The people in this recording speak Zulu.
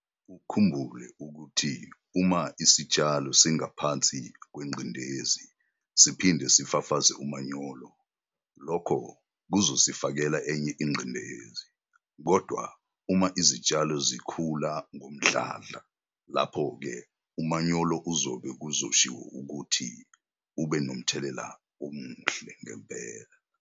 Ukhumbule ukuthi uma isitshalo singapnsi kwengcindezi siphinde sifafaze umanyolo, lokho kuzosifakele enye ingcindezi, kodwa uma izitshalo zikhula ngomdlandla lapho ke umanyolo uzobe kuzoshiwo ukuthi ube nothelela omuhle.